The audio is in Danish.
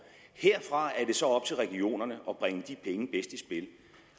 herfra er det så op til regionerne at bringe de penge bedst